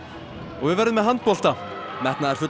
við verðum með handbolta metnaðarfullan